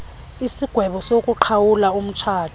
isigwebo sokuqhawula umtshato